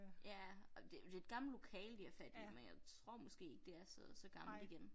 Ja og det jo det et gammelt lokale de har fat i men jeg tror måske ikke det er så så gammelt igen